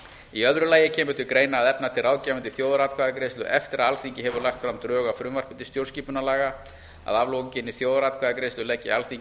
í öðru lagi kemur til greina að efna til ráðgefandi þjóðaratkvæðagreiðslu eftir að alþingi hefur lagt fram drög að frumvarpi til stjórnarskipunarlaga að aflokinni þjóðaratkvæðagreiðslu leggi alþingi